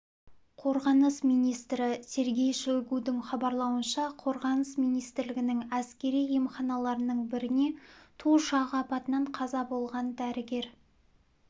қорғаныс министрі сергей шойгудың хабарлауынша қорғаныс министрлігінің әскери емханаларының біріне ту ұшағы апатынан қаза болған дәрігер